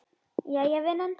Jæja vinan.